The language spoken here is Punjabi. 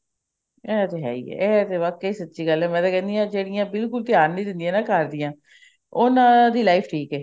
ਇਹ ਤੇ ਹੈ ਹੀ ਹੈ ਇਹ ਤੇ ਸੱਚੀ ਗੱਲ ਹੈ ਮੈਂ ਕਹਿਣੀ ਹਾਂ ਜਿਹੜੀਆਂ ਬਿਲਕੁਲ ਧਿਆਨ ਨੀ ਦਿੰਦੀਆਂ ਘਰਦਿਆਂ ਉਹਨਾ ਦੀ life ਠੀਕ ਹੈ